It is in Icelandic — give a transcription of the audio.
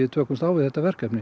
takast á við þetta verkefni